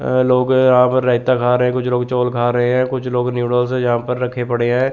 अ लोग यहां पे रायता खा रहे है कुछ लोग चावल खा रहे है कुछ लोग नूडल्स है यहां पे रखे पड़े है।